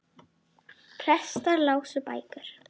Hún var sköpuð fyrir hann.